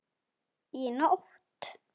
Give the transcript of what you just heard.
Í nótt?